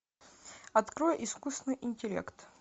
открой искусственный интеллект